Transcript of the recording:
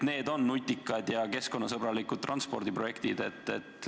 Need on nutikad ja keskkonnasõbralikud transpordiprojektid.